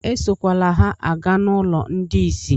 Esokwele ha aga n'ụlọ ndị isi!